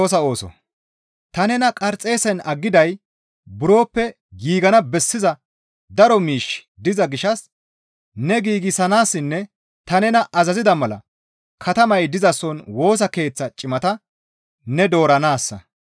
Ta nena Qarxeesen aggiday buroppe giigana bessiza daro miishshi diza gishshas ne giigsanaassinne ta nena azazida mala katamay dizason Woosa Keeththa cimata ne dooranaassa.